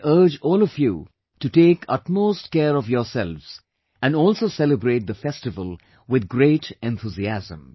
I urge all of you to take utmost care of yourself and also celebrate the festival with great enthusiasm